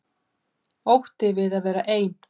Ótti við að vera ein.